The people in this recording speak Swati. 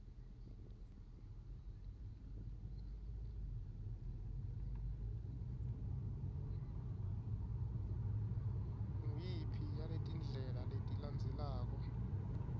nguyiphi yaletindlela letilandzelako